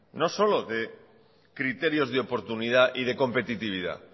no solo de criterios de oportunidad y de competitividad